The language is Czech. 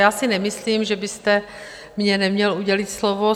Já si nemyslím, že byste mně neměl udělit slovo.